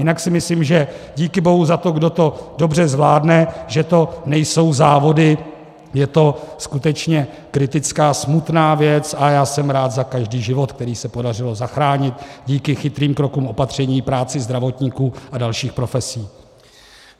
Jinak si myslím, že díky bohu za to, kdo to dobře zvládne, že to nejsou závody, je to skutečně kritická smutná věc, a já jsem rád za každý život, který se podařilo zachránit díky chytrým krokům opatření, práci zdravotníků a dalších profesí.